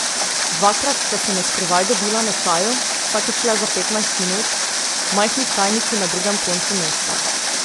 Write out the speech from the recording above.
Dvakrat sta se na skrivaj dobila na čaju, vsakič le za petnajst minut, v majhni čajnici na drugem koncu mesta.